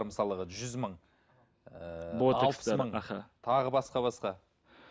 мысалыға жүз мың ыыы аха тағы басқа басқа